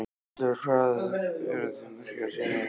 Berghildur: Hvað eru þeir margir sem sýna hérna?